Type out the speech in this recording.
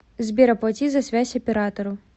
сбер оплати за связь оператору